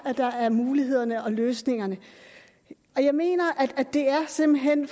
der er mulighederne og løsningerne jeg mener at det simpelt hen